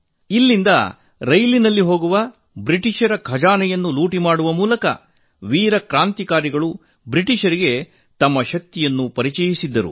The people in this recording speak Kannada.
ಇಲ್ಲಿಂದ ರೈಲಿನಲ್ಲಿ ಹೋಗುವ ಬ್ರಿಟಿಷರ ಖಜಾನೆಯನ್ನು ಲೂಟಿ ಮಾಡುವ ಮೂಲಕ ವೀರ ಕ್ರಾಂತಿಕಾರಿಗಳು ಬ್ರಿಟಿಷರಿಗೆ ತಮ್ಮ ಶಕ್ತಿಯನ್ನು ತೋರಿಸಿದ್ದರು